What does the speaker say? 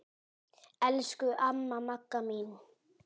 Elsku amma Magga mín.